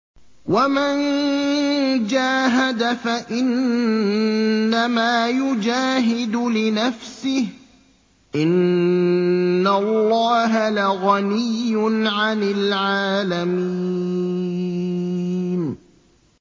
وَمَن جَاهَدَ فَإِنَّمَا يُجَاهِدُ لِنَفْسِهِ ۚ إِنَّ اللَّهَ لَغَنِيٌّ عَنِ الْعَالَمِينَ